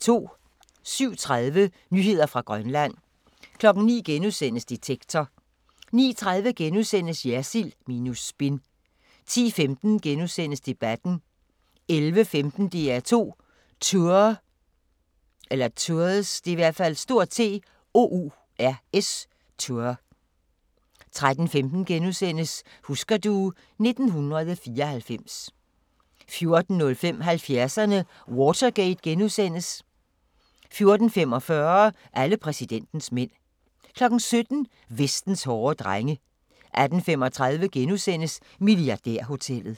07:30: Nyheder fra Grønland 09:00: Detektor * 09:30: Jersild minus spin * 10:15: Debatten * 11:15: DR2 Tours 13:15: Husker du ... 1994 * 14:05: 70'erne: Watergate * 14:45: Alle præsidentens mænd 17:00: Vestens hårde drenge 18:35: Milliardærhotellet *